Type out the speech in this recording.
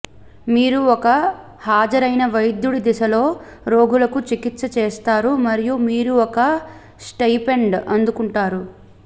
మీరు ఒక హాజరైన వైద్యుడి దిశలో రోగులకు చికిత్స చేస్తారు మరియు మీరు ఒక స్టయిపెండ్ అందుకుంటారు